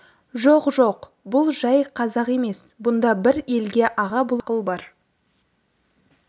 жоқ жоқ бұл жай қазақ емес бұнда бір елге аға боларлық ақыл бар